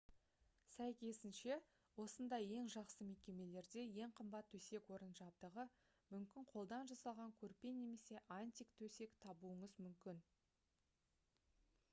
сәйкесінше осындай ең жақсы мекемелерде ең қымбат төсек-орын жабдығы мүмкін қолдан жасалған көрпе немесе антик төсек табуыңыз мүмкін